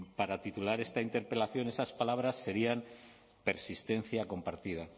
para titular esta interpelación esas palabras sería persistencia compartida